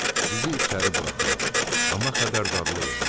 Sizi içəri buraxıram, amma xəbərdarlıq eləyirəm.